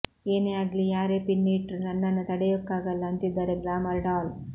ಏನೇ ಆಗ್ಲಿ ಯಾರೇ ಪಿನ್ ಇಟ್ರೂ ನನ್ನನ್ನ ತಡೆಯೊಕಗಲ್ಲ ಅಂತಿದ್ದಾರೆ ಗ್ಲಾಮರ್ ಡಾಲ್